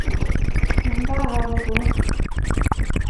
Nga kaokono